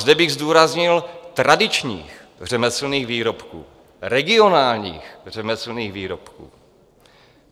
Zde bych zdůraznil tradičních řemeslných výrobků, regionálních řemeslných výrobků.